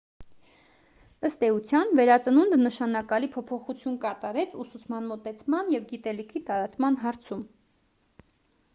ըստ էության վերածնունդը նշանակալի փոփոխություն կատարեց ուսուցման մոտեցման և գիտելիքի տարածման հարցում